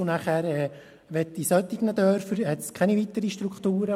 In solchen Dörfern hat es keine weiteren Strukturen.